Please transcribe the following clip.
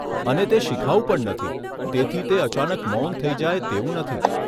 અને તે શિખાઉ પણ નથી, તેથી તે અચાનક મૌન થઈ જાય તેવું નથી.